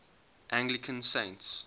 anglican saints